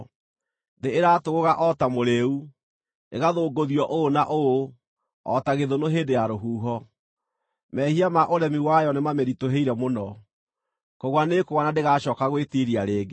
Thĩ ĩratũgũga o ta mũrĩĩu, ĩgathũngũthio ũũ na ũũ o ta gĩthũnũ hĩndĩ ya rũhuho; mehia ma ũremi wayo nĩmamĩritũhĩire mũno, kũgũa nĩĩkũgũa na ndĩgaacooka gwĩtiiria rĩngĩ.